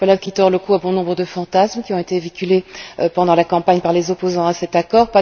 Voilà qui tord le cou à bon nombre de fantasmes qui ont été véhiculés pendant la campagne par les opposants à cet accord.